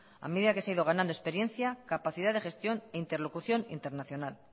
a medida que se ha ido ganando experiencia capacidad de gestión e interlocución internacional